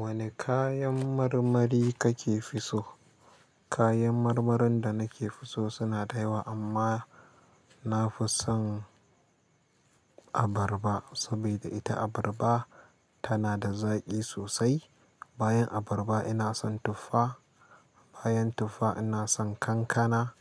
Wani kayan marmari kake fi so? Kayan marmarin da nake fi so suna da yawa amma na fi son abarba saboda ita abarba tana da zaƙi sosai. Bayan abarba ina son tuffa, bayan tuffa ina son kankana,